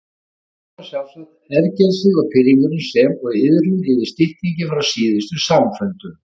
Þess vegna sjálfsagt ergelsið og pirringurinn sem og iðrun yfir styttingi frá síðustu samfundum.